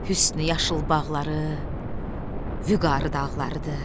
Hüsnü yaşıl bağları, Vüqarı dağlarıdır.